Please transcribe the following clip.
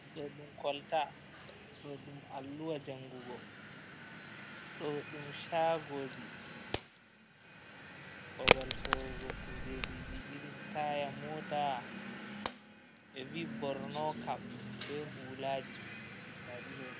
Do dum kolta do dum alluwa jangugo, do dum shagoji babal sorugo kujeji ji irin taya mota be vi bornokap be hulaji.